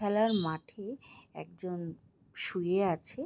খেলার মাঠে একজন শুয়ে আছে ।